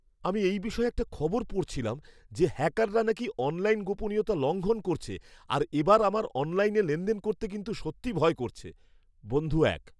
আমি এই বিষয়ে একটা খবর পড়ছিলাম যে হ্যাকাররা নাকি অনলাইন গোপনীয়তা লঙ্ঘন করছে আর এবার আমার অনলাইনে লেনদেন করতে কিন্তু সত্যি ভয় করছে। বন্ধু এক